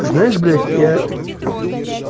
знаешь блядь я